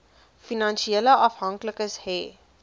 finansiële afhanklikes hê